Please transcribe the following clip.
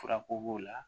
Furako b'o la